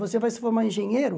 Você vai se formar engenheiro?